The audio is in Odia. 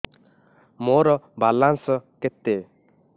ମୋର ବାଲାନ୍ସ କେତେ